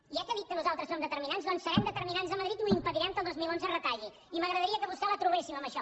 i eh que ha dit que nosaltres som determinants doncs serem determinants a madrid i impedirem que al dos mil onze es retalli i m’agradaria que a vostè la trobéssim en això